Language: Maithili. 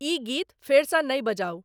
ई गीत फेर सॅ नहि बजाउ।